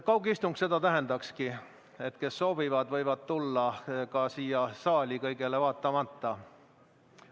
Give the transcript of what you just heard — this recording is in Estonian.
Kaugistung seda tähendakski, et need, kes soovivad, võivad tulla ka siia saali, kõigele vaatamata.